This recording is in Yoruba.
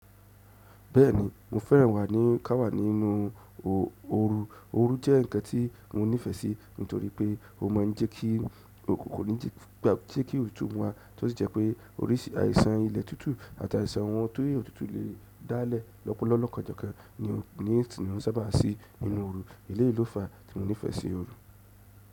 Bẹ́ẹ̀ni mo fẹ́ràn wà á ní ká wà nínú ooru. Ooru jẹ́ ǹkan tí mo nífẹ̀ẹ́ sí nítorí pé ó máa ń jẹ́ kí kò ní jẹ́ gba jẹ́ kí òótú wá tí ó sì jẹ́ pé oríṣi àìsàn ilẹ̀ tútù àti àìsàn ohun tó è tútù lè dálẹ̀. Ọ̀pọ̀lọpọ̀ lọ́kàn jẹ́kẹ́ ni nì tí mo sábà sí nínú ooru. Eléyìí ló fa tí mi o nífẹ̀ẹ́ sí ooru.